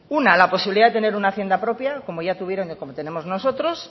una la posibilidad de tener una hacienda propia como tenemos nosotros